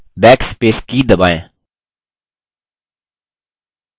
type key गये अक्षरों को मिटाने के लिए backspace की दबाएँ